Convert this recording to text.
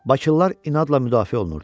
Bakılılar inadla müdafiə olunurdular.